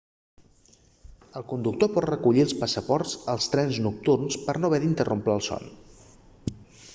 el conductor pot recollir els passaports als trens nocturns per no haver d'interrompre el son